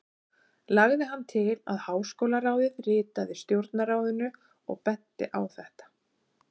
Lagði hann til, að háskólaráðið ritaði Stjórnarráðinu og benti á þetta.